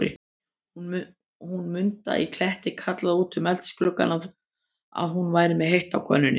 Hún Munda í Kletti kallaði út um eldhúsgluggann, að hún væri með heitt á könnunni.